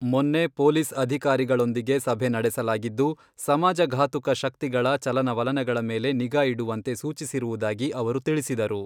ಮೊನ್ನೆ ಪೊಲೀಸ್ ಅಧಿಕಾರಿಗಳೊಂದಿಗೆ ಸಭೆ ನಡೆಸಲಾಗಿದ್ದು, ಸಮಾಜ ಘಾತುಕ ಶಕ್ತಿಗಳ ಚಲನವಲನಗಳ ಮೇಲೆ ನಿಗಾ ಇಡುವಂತೆ ಸೂಚಿಸಿರುವುದಾಗಿ ಅವರು ತಿಳಿಸಿದರು.